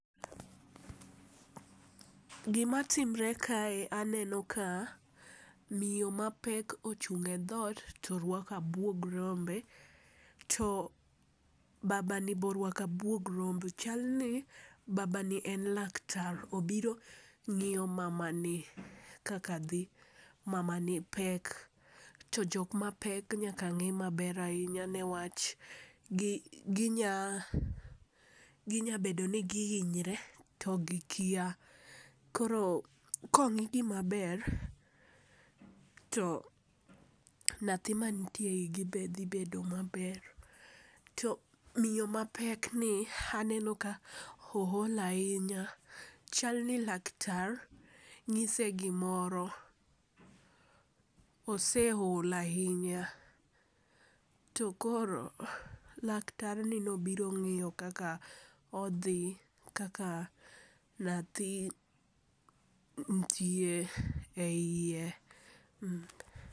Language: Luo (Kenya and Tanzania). Gimatimre kae, aneno ka miyo ma pek ochung'e dhot to orwako abwog rombe, to babani be orwako abwog rombe. Chalni babani en laktar, obiro ng'iyo mamani kaka dhi mamani pek, to jok mapek nyaka ng'i maber ahinya niwach ginya bedo ni gihinyre to gikia. Koro kong'igi maber, to nyathi manitie e igi be dhi bedo maber. To miyo mapekni ,aneno ka ool ahinya, chalni laktar nyise gimoro, oseol ahinya, to koro laktarni nobiro ng'iyo kaka odhi kaka nyathi ntie,e iye.